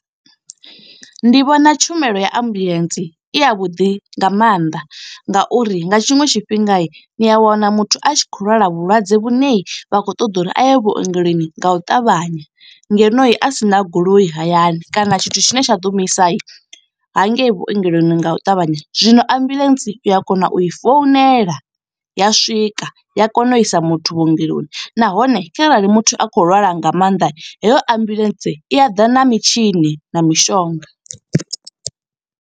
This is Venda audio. ndi vhona tshumelo ya ambuḽentse i ya vhuḓi nga mannḓa, nga uri nga tshiṅwe tshifhinga ni a wana muthu a tshi khou lwala vhulwadze vhune vha khou ṱoḓa uri a ye vhuongeloni nga u ṱavhanya. Ngeno a sina goloi hayani kana tshithu tshine tsha ḓo mu isa hangei vhuongeloni, nga u ṱavhanya. Zwino ambulance uya kona u i founela ya swika, ya kona u isa muthu vhuongeloni. Nahone kharali muthu a khou lwala nga maanḓa, heyo ambulance i a ḓa na mitshini na mishonga.